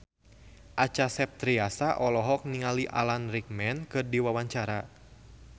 Acha Septriasa olohok ningali Alan Rickman keur diwawancara